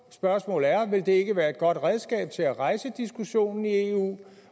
spørgsmål er ville det ikke være et godt redskab til at rejse diskussionen i eu